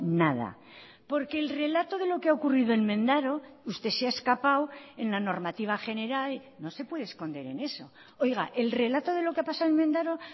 nada porque el relato de lo que ha ocurrido en mendaro usted se ha escapado en la normativa general no se puede esconder en eso oiga el relato de lo que ha pasado en mendaro